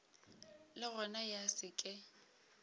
le gona ya se ke